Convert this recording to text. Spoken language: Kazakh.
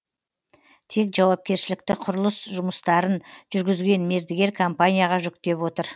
тек жауапкершілікті құрылыс жұмыстарын жүргізген мердігер компанияға жүктеп отыр